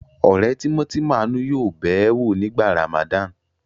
Ọ̀rẹ́ tímọ́tímọ́ Àánú yóò bẹ̀ ẹ́ wò nígbà Ramadan.